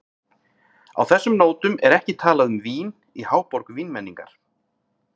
Á þessum nótum er ekki talað um vín í háborg vínmenningar.